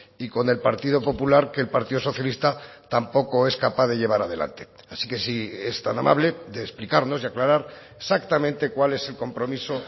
y con el partido popular que el partido socialista tampoco es capaz de llevar adelante así que si es tan amable de explicarnos y aclarar exactamente cuál es el compromiso